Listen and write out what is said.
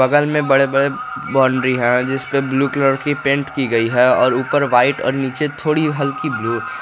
बगल में बड़े बड़े बाउंड्री है जिस पे ब्लू कलर की पेंट की गई है और ऊपर व्हाइट और नीचे थोड़ी हल्की ब्लू ।